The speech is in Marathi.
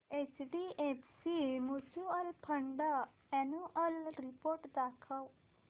HDFC mutual fund annual report दाखव